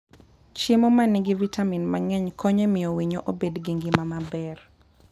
Chiemo ma nigi vitamin mang'eny konyo e miyo winyo obed gi ngima maber.